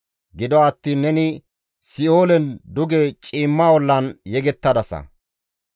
Gido attiin neni si7oolen duge ciimma ollan yegettadasa.